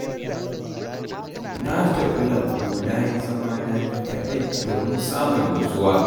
Na tafi lambu na yi zamana ni kaɗai, domin samun nutsuwa.